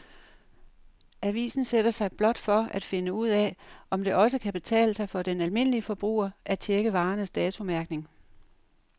Avisen sætter sig blot for at finde ud af, om det også kan betale sig for den almindelige forbruger at checke varernes datomærkning.